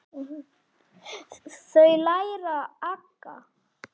Þau læra aga.